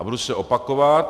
A budu se opakovat.